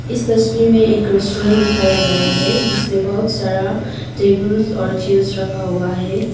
इस तस्वीर में एक रेस्टोरेंट दिखाया गया है जिसमें बहुत सारा टेबल्स और चेयर्स रखा हुआ है।